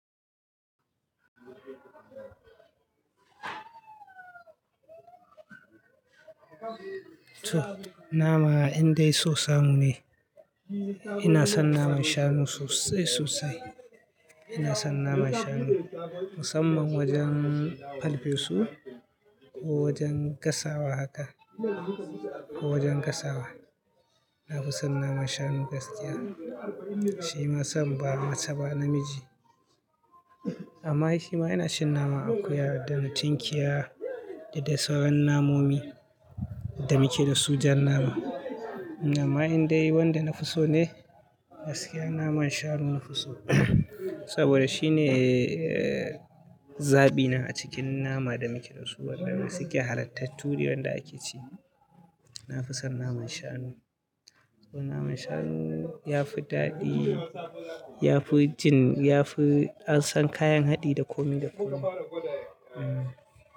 To, nama indai sosamu ne. Ina son naman shanu sosai, sosai. Ina son naman shanu musamman wajen farfesu ko wajen gasawa haka, ko wajen gasawa. Na fi son naman shanu gaskiya. Shi ma san ba mace ba namiji. Amma shi ma ina cin nama akuya da na tinkiya da sauran namomi da muke da su jan nama. Amma indai wanda nafi so ne gaskiya naman shanu nafi so. Saboda shine, eh, zaɓina a cikin nama da muke da su waɗanda suke halartattu dai wanda ake ci. Na fi son naman shanu. Saboda naman shanu ya fi daɗi, ya fi jin, ya fi an san kayan haɗi da komi da komi. Hmm.